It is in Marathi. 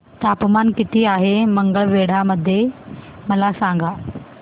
तापमान किती आहे मंगळवेढा मध्ये मला सांगा